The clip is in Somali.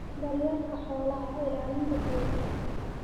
daryeelka xoolaha, ilaalinta deegaanka.